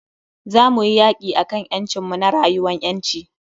Za muyi yaki akan ƴancin mu na rayuwan ƴanci.